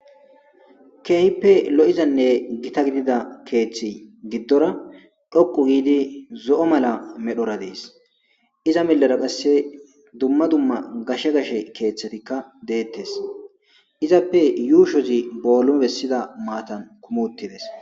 Keehippe lo'iyzanne gitta giddida keeththa giddora tsoqqu giddi zo'o mala merara dees. Iza melara qassi dumma dumma gashe gashe keeththatika dettes. Izappe yuushshozi bollumessida maatan kumi utti dees.